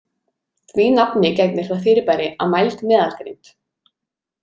Því nafni gegnir það fyrirbæri að mæld meðalgreind.